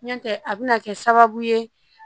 N tɛ a bɛna kɛ sababu ye